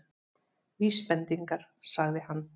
Vísbendingar- sagði hann.